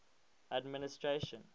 administration